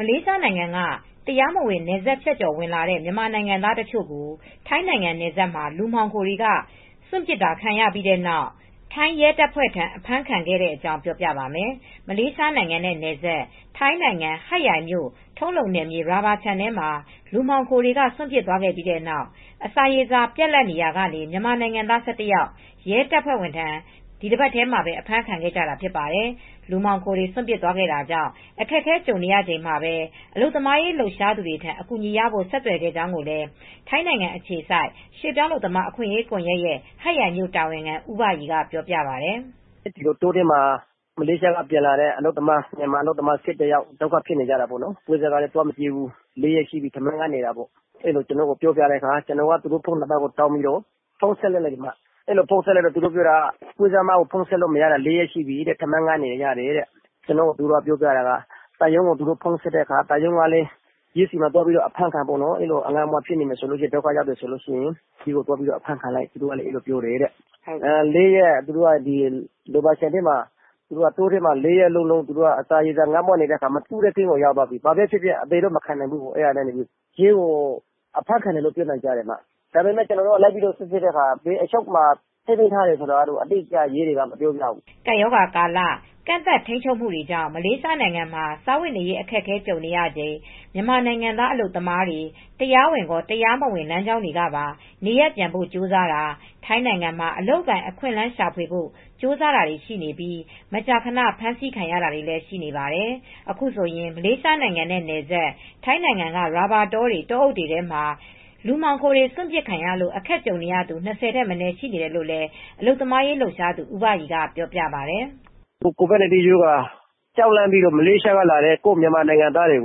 မလေးရှားနိုင်ငံက တရားမဝင် နယ်စပ်ဖြတ်ကျော်ဝင်လာတဲ့ မြန်မာနိုင်ငံသား တချို့ကို ထိုင်းနိုင်ငံနယ်စပ်မှာ လူမှောင်ခိုတွေက စွန့်ပစ်တာခံခဲ့ရပြီးနောက် ထိုင်းရဲတပ်ဖွဲ့ထံ အဖမ်းခံခဲ့တဲ့အကြောင်း ပြောပြပါမယ်။ ဗွီအိုအေမြန်မာပိုင်းသတင်းထောက် မအေးအေးမာက သတင်းပေးပို့ထားပါတယ်။ မလေးရှားနိုင်ငံနဲ့နယ်စပ် ထိုင်းနိုင်ငံ ဟတ်ရိုင်မြို့ ထုံးလုံနယ်မြေ ရာဘာခြံထဲမှာ လူမှောင်ခိုတွေက စွန့်ပစ်သွားခဲ့ပြီးနောက် အစာရေစာ ပြတ်လပ်လာရာက မြန်မာနိုင်ငံသား ၁၁ ယောက် ရဲတပ်ဖွဲ့ထံ ဒီတပတ်ထဲမှာပဲ အဖမ်းခံခဲ့ကြတာ ဖြစ်ပါတယ်။ လူမှောင်ခိုတွေ စွန့်ပစ်သွားခဲ့တာကြောင့် အခက်အခဲကြုံနေရချိန်မှာပဲ အလုပ်သမားရေးလှုပ်ရှားသူတွေထံ အကူအညီရဖို့ ဆက်သွယ်ခဲ့ကြောင်းလည်း ထိုင်းနိုင်ငံအခြေစိုက် ရွှေ့ပြောင်းအလုပ်သမား အခွင့်အရေးကွန်ယက်ရဲ့ ဟတ်ရိုင်မြို့ တာဝန်ခံ ဦးဘရီက ပြောပါတယ်။ “တောထဲက မလေးရှားက ပြန်လာတဲ့ အလုပ်သမား ၁၁ ယောက် ဒုက္ခရောက်နေတာပေါ့။ပွဲစားက ဖုန်းဆက်တာ လာမကြည့်ဘူး။ ထမင်းငတ်တာ ၄ ရက်လောက်ရှိပြီး ကျနော်က သူတို့ဆီကို ဆက်သွယ်ပြီး ဖုန်းဆက်တဲ့အခါမှာ သံရုံးကို သူတို့ဆက်တယ်။ အဲဒီလိုငတ်မွတ်ပြီး ဒုက္ခရောက်နေရင်တော့ ရဲဆီမှာ အဖမ်းခံလိုက်လို့ ပြောပြတယ်တဲ့ ရာဘာခြံထဲမှာ တောထဲမှာ ငတ်မွတ်နေတော့ အသေတော့မခံဘူး။ ရဲကို အဖမ်းခံလိုက်တယ်လို့ ပြောတယ်။ ဒါပေမဲ့ ရဲကို ကျနော်တို့ သွားမေးတော့ လိုက်စီစစ်တော့ သူတို့ကို ဘယ်အချုပ်ခန်းမှာ ထားတယ်ဆိုတာတော့ ရဲတွေက အတိအကျ မပြောပြဘူး။” ကပ်ရောဂါကာလ ကန့်သတ်ထိန်းချုပ်မှုတွေကြောင့် မလေးရှားနိုင်ငံမှာ စားဝတ်နေရေး အခက်အခဲ ကြုံနေရချိန် မြန်မာနိုင်ငံသား အလုပ်သမားတွေ တရားဝင်ရော၊ တရားမဝင် လမ်းကြောင်းတွေကပါ နေရပ်ပြန်ဖို့ ကြိုးစားတာ၊ ထိုင်းနိုင်ငံမှာ အလုပ်အကိုင်အခွင့်အလမ်း ရှာဖွေဖို့ ကြိုးစားတာတွေ ရှိနေပြီး မကြာခဏ ဖမ်းဆီးခံရတာတွေလည်း ရှိနေပါတယ်။ အခုဆိုရင် မလေးရှားနိုင်ငံနဲ့နယ်စပ် ထိုင်းနိုင်ငံက ရာဘာတောတွေ၊ တောအုပ်တွေထဲမှာ လူမှောင်ခိုတွေ စွန့်ပစ်ခံရလို့ အခက်ကြုံနေရသူ ၂၀ ထက်မနည်း ရှိနေတယ်လို့လည်း အလုပ်သမားရေး လှုပ်ရှားသူ ဦးဘရီကပြောပါတယ်။ “ကိုဗစ်ကပ်ရောဂါ ကြောက်လန့်ပြီး မလေးရှားက လာတဲ့ ကိုယ့်မြန်မာနိုင်ငံသားတွေ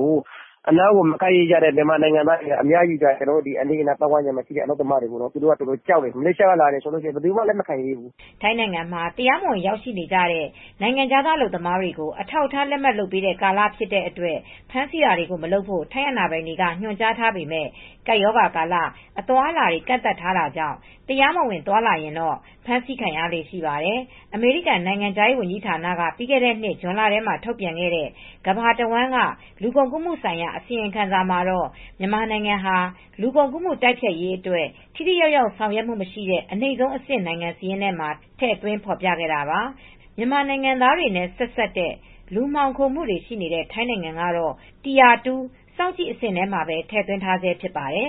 ကို အနားကို မကပ်ရဲကြတဲ့ မြန်မာနိုင်ငံသားတွေက အများကြီး ကျနော်တို့ အနီးအနားပတ်ဝန်းကျင်မှာ။ သူတို့က ကြောက်တယ်... မလေးရှားက လာတယ်ဆိုရင် ဘယသူမှ လက်မခံရဲဘူး။” ထိုင်းနိုင်ငံမှာ တရားမဝင် ရောက်ရှိနေတဲ့ နိုင်ငံခြားသား အလုပ်သမားတွေကို အထောက်အထား လက်မှတ်လုပ်ပေးတဲ့ ကာလဖြစ်တဲ့အတွက် ဖမ်းဆီးတာတွေ မလုပ်ဖို့ ထိုင်းအာဏာပိုင်တွေက ညွှန်ကြားထားပေမဲ့ ကပ်ရောဂါကာလ အသွားအလာတွေ ကန့်သတ်ထားတာကြောင့် တရားမဝင် သွားလာရင်တော့ ဖမ်းဆီးခံရလေ့ရှိပါတယ်။ အမေရိကန်နိုင်ငံခြားရေး ဝန်ကြီးဌာနက ပြီးခဲ့တဲ့နှစ် ဇွန်လထဲမှာ ထုတ်ပြန်ခဲ့တဲ့ ကမ္ဘာတဝန်းက လူကုန်ကူးမှုဆိုင်ရာ အစီရင်ခံစာမှာတော့ မြန်မာနိုင်ငံဟာ လူကုန်ကူးမှု တိုက်ဖျက်ရေးအတွက် ထိထိရောက်ရောက် ဆောင်ရွက်မှုမရှိတဲ့ အနိမ့်ဆုံးအဆင့် နိုင်ငံစာရင်းမှာ ထည့်သွင်းဖော်ပြခဲ့တာပါ။ မြန်မာနိုင်ငံသားတွေနဲ့ ဆက်စပ်တဲ့ လူမှောင်ခိုမှုတွေ ရှိနေတဲ့ ထိုင်းနိုင်ငံကတော့ tire 2 စောင့်ကြည့်အဆင့်မှာ ထည့်သွင်းထားဆဲ ဖြစ်ပါတယ်